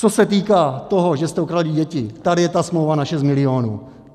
Co se týká toho, že jste okradli děti, tady je ta smlouva na 6 milionů.